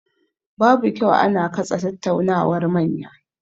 Babu kyau ana katse tattaunawar manya.